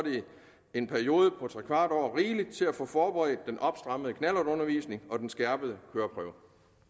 en periode på trekvart år rigeligt til at få forberedt den opstrammede knallertundervisning og den skærpede køreprøve